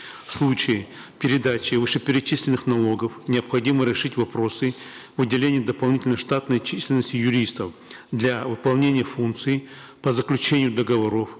в случае передачи вышеперечисленных налогов необходимо решить вопросы выделения дополнительной штатной численности юристов для выполнения функции по заключению договоров